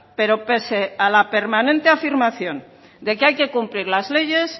pero pese a la permanente afirmación de que hay que cumplir las leyes